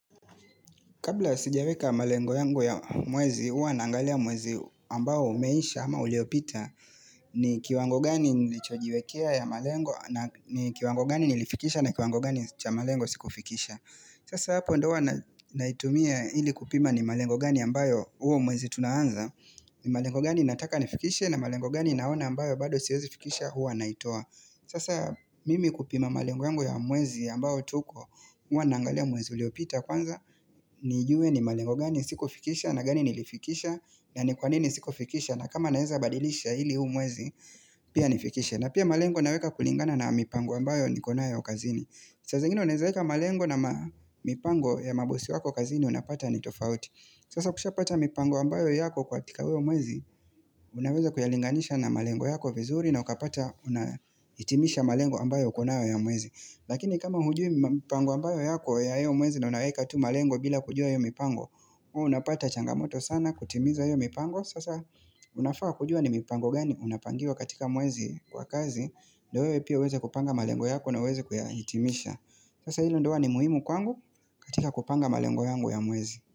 Kabla sijaweka malengo yangu ya mwezi, uwa nangalia mwezi ambao umeisha ama uliopita. Ni kiwango gani nilichojiwekea ya malengo, ni kiwango gani nilifikisha na kiwango gani cha malengo sikufikisha. Sasa hapo ndo wana naitumia hili kupima ni malengo gani ambayo huo mwezi tunaanza. Ni malengo gani nataka nifikishe na malengo gani naona ambayo bado siezi fikisha huwa naitoa. Sasa mimi kupima malengo yangu ya mwezi ambao tuko uwa naangalia mwezi uliopita kwanza. Nijue ni malengo gani siku fikisha na gani nilifikisha na ni kwanini siku fikisha na kama naeza badilisha ili huu mwezi Pia nifikisha na pia malengo naweka kulingana na mipango ambayo ni konayo kazini Sasa ingine unaezaeka malengo na mipango ya mabosi wako kazini Unapata ni tofauti Sasa ukisha pata mipango ambayo yako ka tika uwo mwezi Unaweza kuyalinganisha na malengo yako vizuri na ukapata unaitimisha malengo ambayo uko nayo ya mwezi Lakini kama hujui mipango ambayo yako ya io mwezi na unaweka tu malengo bila kujua yu mipango unapata changamoto sana kutimiza iyo mipango sasa unafawa kujua ni mipango gani unapangiwa katika muezi kwa kazi ndowewe pia weze kupanga malengo yako na uweze kuyahitimisha sasa hilo ndoa ni muhimu kwangu katika kupanga malengo yangu ya mwezi.